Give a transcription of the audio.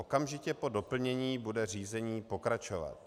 Okamžitě po doplnění bude řízení pokračovat.